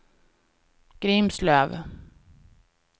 Grimslöv